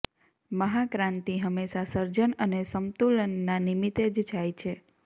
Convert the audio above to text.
મહાક્રાંતિ હંમેશા સર્જન અને સંમતુલનના નિમિત્તે જ જાય છે